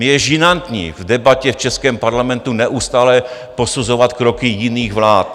Mně je žinantní v debatě v českém parlamentu neustále posuzovat kroky jiných vlád.